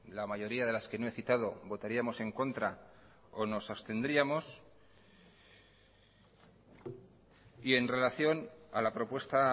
la mayoría de las que no he citado votaríamos en contra o nos abstendríamos y en relación a la propuesta